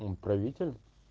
он правитель